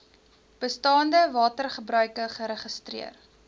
bestaande watergebruike geregistreer